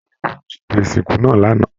Àwọn olórí ẹbí ló ṣètò ìsìnkú náà l'ana.